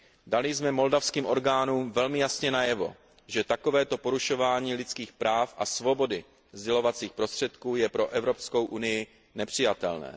Dali jsme moldavským orgánům velmi jasně najevo, že takovéto porušování lidských práv a svobody sdělovacích prostředků je pro EU nepřijatelné.